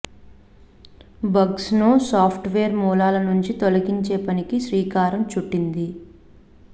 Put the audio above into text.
bugs ను software మూలాల నుంచి తొలగించే పనికి శ్రీకారం చుట్టింది